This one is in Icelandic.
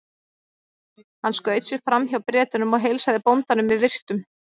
Hann skaut sér fram hjá Bretunum og heilsaði bóndanum með virktum.